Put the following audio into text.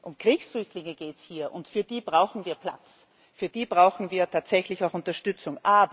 Um Kriegsflüchtlinge geht es hier, und für die brauchen wir Platz, für die brauchen wir tatsächlich auch Unterstützung.